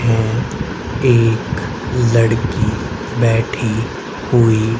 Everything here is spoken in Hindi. हैं एक लड़की बैठी हुई--